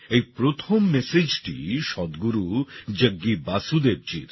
এই প্রথম messageটি সদগুরু জগ্গি বাসুদেবজীর